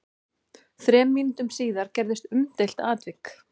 Þremur mínútum síðar gerðist umdeilt atvik.